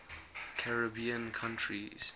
caribbean countries